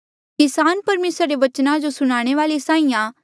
किसान परमेसरा रे बचना जो सुनाणे वाले साहीं आं